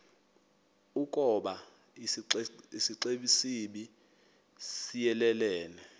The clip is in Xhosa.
ukoba isixesibe siyelelene